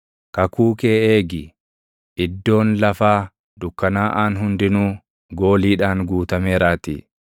Kakuu kee eegi; iddoon lafaa dukkanaaʼaan hundinuu // gooliidhaan guutameeraatii.